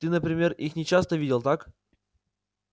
ты например их не часто видел так